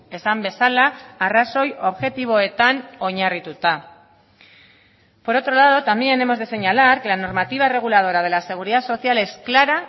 esan bezala arrazoi objektiboetan oinarrituta por otro lado también hemos de señalar que la normativa reguladora de la seguridad social es clara